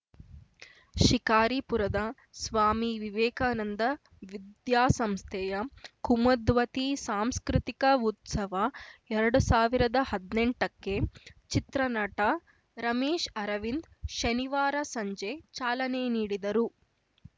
ಶಿಕಾರಿಪುರದ ಸ್ವಾಮಿ ವಿವೇಕಾನಂದ ವಿದ್ಯಾಸಂಸ್ಥೆಯ ಕುಮದ್ವತಿ ಸಾಂಸ್ಕೃತಿಕ ಉತ್ಸವ ಎರಡು ಸಾವಿರದ ಹದ್ನೆಂಟಕ್ಕೆ ಚಿತ್ರನಟ ರಮೇಶ್‌ ಅರವಿಂದ್‌ ಶನಿವಾರ ಸಂಜೆ ಚಾಲನೆ ನೀಡಿದರು